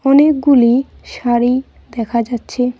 অনেকগুলি শাড়ি দেখা যাচ্ছে।